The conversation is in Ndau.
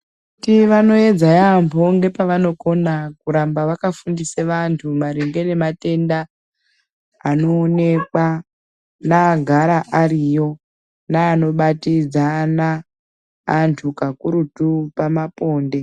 Tivanoedza yaamho ngepavanokona kuramba vakafundise vantu maringe nematenda anoonekwa neagara ariyo, neanobatidzana antu kakurutu pamaponde.